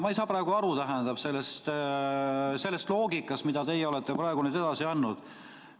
Ma ei saa praegu aru sellest loogikast, mida teie olete edasi andnud.